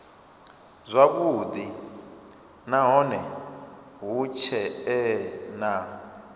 zwavhudi nahone hu tshee na